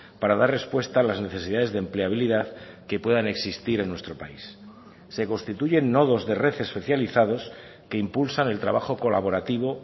para dar respuesta a las necesidades de empleabilidad que puedan existir en nuestro país se constituyen nodos de red especializados que impulsan el trabajo colaborativo